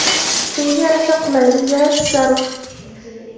shunga yarasha qulaylik yaratish zarur.